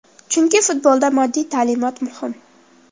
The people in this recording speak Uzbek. Chunki futbolda moddiy ta’minot muhim.